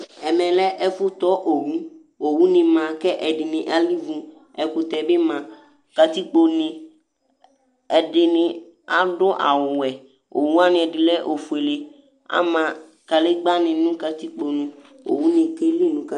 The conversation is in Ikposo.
ɛmɛ lɛ ɛfu tɔ owu owu ni ma kɛ ɛdini alivu ɛkutɛ bi ma katikpo né ɛdini adu awu wɛ owu wani ɛdi lɛ ofuélé ama kadégba ni nu katikpo nu owu ni kéli nu katikkpoé